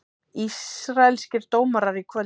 Ísraelskir dómarar í kvöld